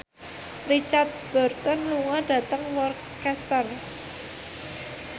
Richard Burton lunga dhateng Worcester